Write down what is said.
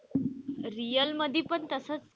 Real मध्ये पण तसेच,